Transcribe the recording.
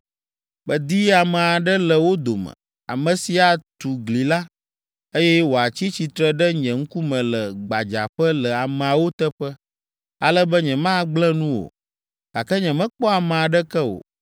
“Medi ame aɖe le wo dome, ame si atu gli la, eye wòatsi tsitre ɖe nye ŋkume le gbadzaƒe le ameawo teƒe, ale be nyemagblẽ nu o, gake nyemekpɔ ame aɖeke o.